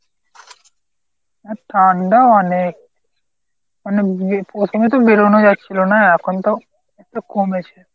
এ ঠান্ডা অনেক। মানে প্রথমে তো বেরুনো যাচ্ছিলনা এখন তো একটু কমেছে।